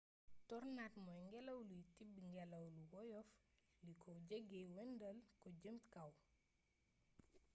tornade mooy ngelaw luy tibb ngelaw lu woyof li ko jege wëndeel ko jëme kaw